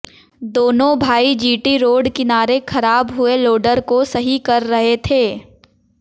दोनों भाई GT road किनारे खराब हुए लोडर को सही कर रहे थे